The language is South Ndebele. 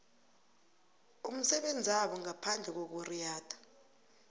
umsebenzabo ngaphandle kokuriyada